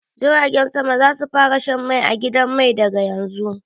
Jiragen sama za su fara shan mai a gidan mai daga yanzu.